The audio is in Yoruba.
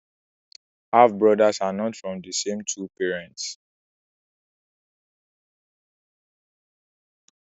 Half brother are not from the same two parents